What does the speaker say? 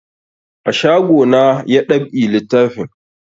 A shago na ya dab'i littafin